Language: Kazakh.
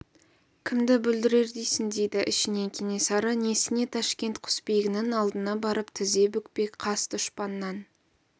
кімді бүлдірер дейсің дейді ішінен кенесары несіне ташкент құсбегісінің алдына барып тізе бүкпек қас дұшпаннан